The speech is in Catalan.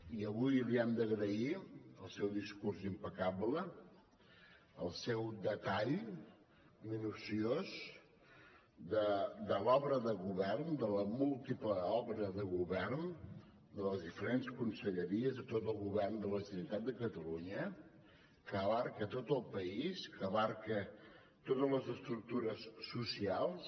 i avui li hem d’agrair el seu discurs impecable el seu detall minuciós de l’obra de govern de la múltiple obra de govern de les diferents conselleries de tot el govern de la generalitat de catalunya que abraça tot el país que abraça totes les estructures socials